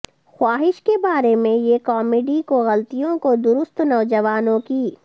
خواہش کے بارے میں یہ کامیڈی کو غلطیوں کو درست نوجوانوں کی